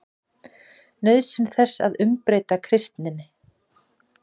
NAUÐSYN ÞESS AÐ UMBREYTA KRISTINNI